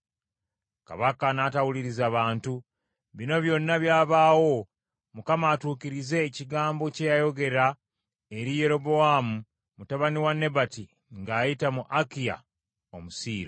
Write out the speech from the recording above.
Kabaka n’atawuliriza bantu. Bino byonna byabaawo Mukama atuukirize ekigambo kye yayogera eri Yerobowaamu mutabani wa Nebati ng’ayita mu Akiya Omusiiro.